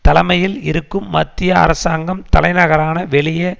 தலைமையில் இருக்கும் மத்திய அரசாங்கம் தலைநகரான வெளியே